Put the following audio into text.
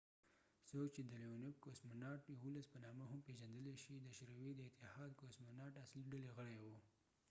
لیونوف leonovڅوک چې د کوسموناټ 11 .cosmonaut no په نامه هم پیژندلی شي د شوروي اتحاد کوسموناټcosmonaut د اصلی ډلې غړی و